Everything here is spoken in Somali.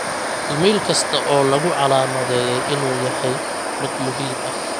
iimayl kasta oo lagu calaamadeeyay inuu yahay mid muhiim ah